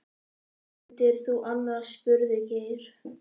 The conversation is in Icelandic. Hvað vildir þú annars? spurði Geir.